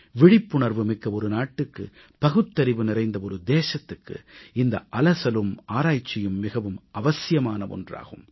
விழிப்புணர்வுமிக்க நாட்டுக்கு பகுத்தறிவு நிறைந்த தேசத்துக்கு இந்த அலசலும் ஆராய்ச்சியும் மிகவும் அவசியமான ஒன்றாகும்